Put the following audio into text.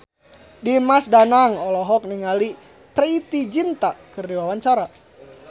Dimas Danang olohok ningali Preity Zinta keur diwawancara